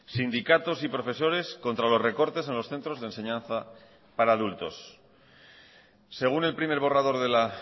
sindicatos y profesores contra los recortes en los centros de enseñanza para adultos según el primer borrador de la